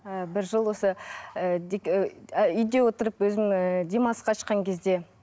і бір жыл осы ііі үйде отырып өзім ыыы демалысқа шыққан кезде